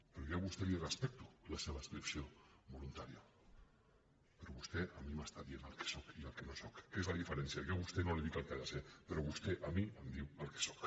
però jo a vostè li respecto la seva adscripció voluntària però vostè a mi m’està dient el que sóc i el que no sóc que és la diferència jo a vostè no li dic el que ha de ser però vostè a mi em diu el que sóc